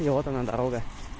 и вот она дорога